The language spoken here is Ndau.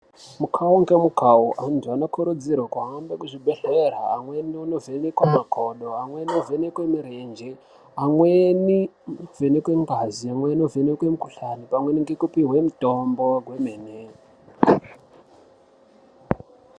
Mukau ngemukau antu anokurudzirwa kuhambe kuzvibhedhlera amweni oovhenekwa makodo , amweni oovhekwe mirenje, amweni onovhekwe ngazi, amweni onovhekwe mukuhlani pamwe nekupihwe mitombo kwemene.